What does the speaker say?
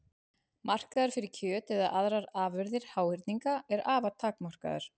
Markaður fyrir kjöt eða aðrar afurðir háhyrninga er afar takmarkaður.